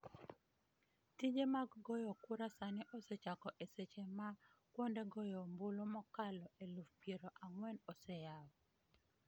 Tije mag goyo kura sani osechako e seche ma kuonde goyo ombulu mokalo eluf piero ang'wen oseyaw